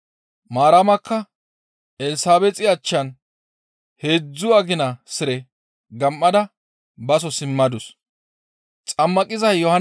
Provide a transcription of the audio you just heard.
Maaramakka Elsabeexi achchan heedzdzu agina sire gam7ada baso simmadus.